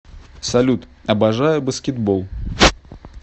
салют обожаю баскетбол